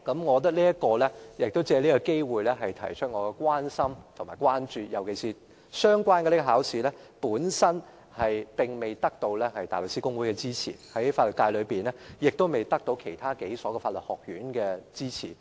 我想借此機會表達我的關心和關注，尤其是這考試並未獲得大律師公會的支持，亦未獲得本地數所法律學院的支持。